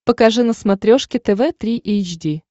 покажи на смотрешке тв три эйч ди